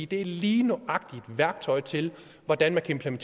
det er lige nøjagtig værktøjet til hvordan man kan